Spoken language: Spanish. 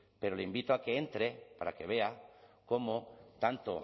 pero le invito a que entre para que vea cómo tanto